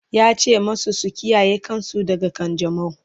yace masu su kiyaye kansu daga kanjamau!